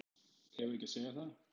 Eigum við ekki að segja það?